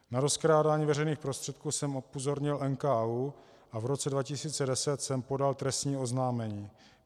Na rozkrádání veřejných prostředků jsem upozornil NKÚ a v roce 2010 jsem podal trestní oznámení.